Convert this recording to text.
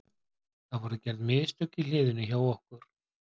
Það voru gerði mistök í hliðinu hjá okkur.